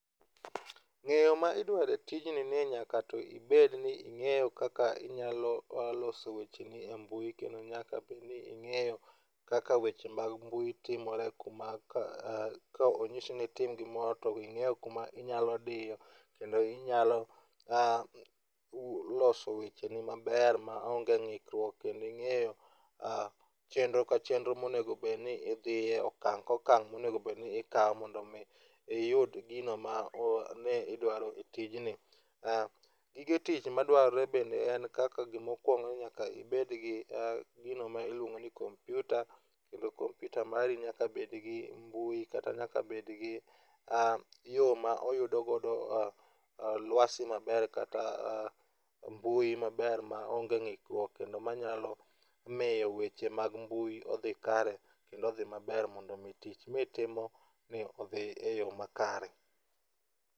Ng'eyo ma idwaro e tijni ni nyaka to ibed ni ing'eyo kaka inyalo loso wecheni e mbui kendo nyaka bedni ing'eyo kaka weche mag mbui timore kuma ka onyisi ni itim gimoro to ing'eyo kuma inyalo diyo. Kendo inyalo loso wecheni maber maonge ng'ikruok ah kendo ing'eyo chenro ka chenro monego bed ni idhiye. Okang' ka okang' monego bed ni ikawo mondo mi iyud gino mane idwaro e tijni. Gige tich madwarore bende en kaka gima okuongo ni nyaka ibed gi gino miluongo ni kompiuta, kendo kompiuta mari nyaka bed gi mbui kata yo ma oyudo godo luasi maber kata mbui maber maonge ng'ikruok manyalo miyo weche mag mbui odhi kare. Kendo odhi maber mondo mi tich ma itimoni odhi eyo makare.